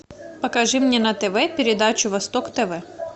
покажи мне на тв передачу восток тв